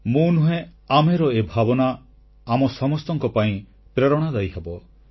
ମୁଁ ନୁହେଁ ଆମେର ଏ ଭାବନା ଆମ ସମସ୍ତଙ୍କ ପାଇଁ ପ୍ରେରଣାଦାୟୀ ହେବ